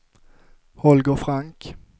Holger Frank